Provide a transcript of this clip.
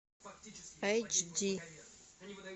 эйч ди